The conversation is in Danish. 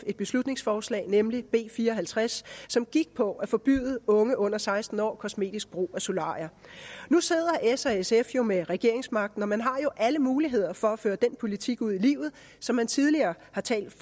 et beslutningsforslag nemlig b fire og halvtreds som gik på at forbyde unge under seksten år kosmetisk brug af solarier nu sidder s og sf jo med regeringsmagten og man har alle muligheder for at føre den politik ud i livet som man tidligere har talt